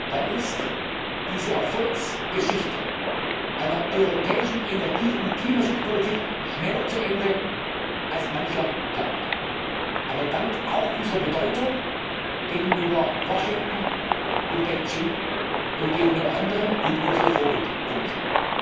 dann ist diese Erfolgsgeschichte einer europäischen Energie und Klimaschutzpolitik schneller zu Ende, als mancher glaubt, aber damit auch unsere Bedeutung gegenüber Washington und Beijing und gegenüber anderen und unsere Vorbildfunktion.